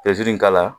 in k'a la